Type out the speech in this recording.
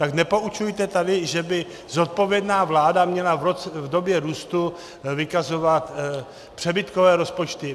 Tak nepoučujte tady, že by zodpovědná vláda měla v době růstu vykazovat přebytkové rozpočty.